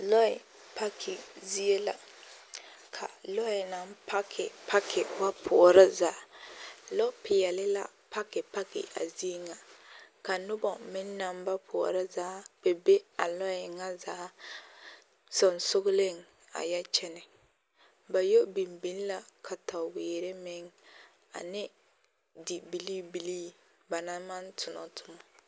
Lɔɛ paki zie la ka lɔɛ naŋ paki paki ba poɔrɔ zaa, lɔpeɛle la paki paki a zie ŋa ka nobɔ meŋ naŋ ba poɔrɔ zaa kpɛ be a lɔɛ ŋa zaa sonsogeleŋ a yɛ kyɛnɛ, ba yɔ biŋ biŋ la kataweere meŋ ane dibilii bilii ba naŋ maŋ tonɔ time.